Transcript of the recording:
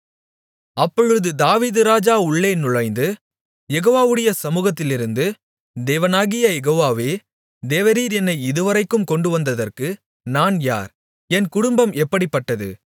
அப்பொழுது தாவீது ராஜா உள்ளே நுழைந்து யெகோவாவுடைய சமூகத்திலிருந்து தேவனாகிய யெகோவாவே தேவரீர் என்னை இதுவரைக்கும் கொண்டுவந்ததற்கு நான் யார் என் குடும்பம் எப்படிப்பட்டது